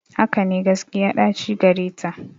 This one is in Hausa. Hakane, gaskiya ɗaci gareta.